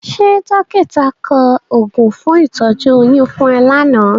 Ṣé dọ́kítà kọ oògùn fún ìtọ́jú oyún fún ẹ lánàá?